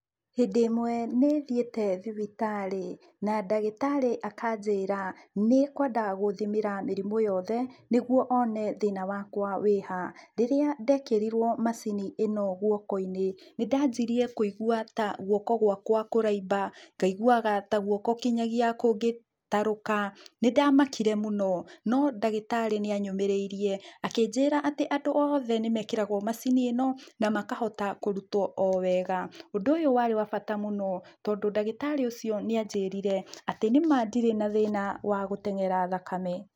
Hĩndĩ ĩmwe nĩthiĩte thibitarĩ, na ndagĩtarĩ akanjĩra nĩekwenda gũthimĩra mĩrimũ yothe, nĩguo one thĩna wakwa wĩha. Rĩrĩa ndekĩrirwo macini ĩno guoko-inĩ, nĩndanjirie kũigua ta guoko gwakwa kũraimba, ngaiguaga ta guoko nginya kũngĩtarũka, nĩndamakire mũno, no ndagĩtarĩ nĩanyũmĩrĩirie, akĩnjĩra atĩ andũ othe nĩmekĩragwo macini ĩno, na makahota kũrutwo o wega. Ũndũ ũyũ warĩ wa bata mũno, tondũ ndagĩtarĩ ũcio nĩanjĩrire atĩ nĩma ndi rĩ na thĩna wa gũteng'era thakame.